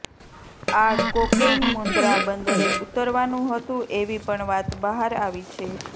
આ કોકેઈન મુન્દ્રા બંદરે ઉતરવાનું હતું એવી પણ વાત બહાર આવી છે